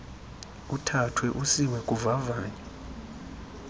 uthathwe usiwe kuvavanyo